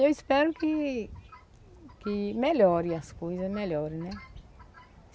Eu espero que que melhore as coisas, melhore, né?